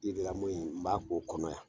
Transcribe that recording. yiri lamɔ in n b'a k"o kɔnɔ yan.